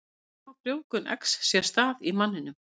Hvernig á frjóvgun eggs sér stað í manninum?